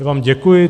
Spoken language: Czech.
Já vám děkuji.